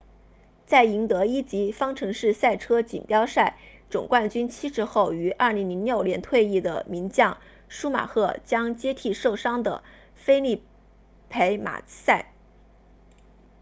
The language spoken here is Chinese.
在赢得一级方程式赛车锦标赛 formula 1总冠军七次后于2006年退役的名将舒马赫 schumacher 将接替受伤的菲利佩马萨 felipe massa